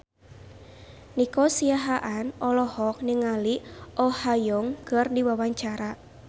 Nico Siahaan olohok ningali Oh Ha Young keur diwawancara